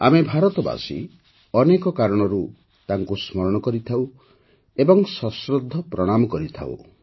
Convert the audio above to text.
ଆମେ ଭାରତବାସୀ ଅନେକ କାରଣରୁ ତାଙ୍କୁ ସ୍ମରଣ କରିଥାଉଁ ଏବଂ ସଶ୍ରଦ୍ଧ ପ୍ରଣାମ କରିଥାଉଁ